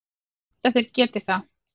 Ég held að þeir geti það.